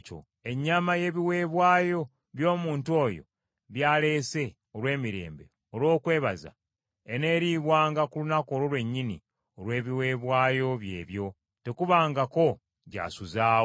Ennyama y’ebiweebwayo by’omuntu oyo by’aleese olw’emirembe olw’okwebaza eneeriibwanga ku lunaku olwo lwennyini olw’ebiweebwayo bye ebyo; tekubangako gy’asuzaawo.